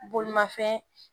Bolimafɛn